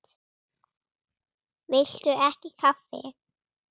Viltu ekki kaffi?